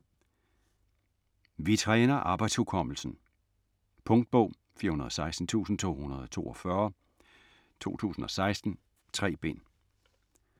Vi træner arbejdshukommelsen Punktbog 416242 2016. 3 bind.